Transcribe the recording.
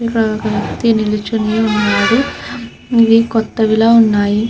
ఇక్కడ ఒక వ్యక్తీ నిలుచిని వున్నాడు ఇది కొత్తవి లా వున్నాయి.